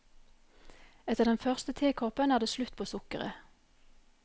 Etter den første tekoppen er det slutt på sukkeret.